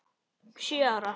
Sjö ára.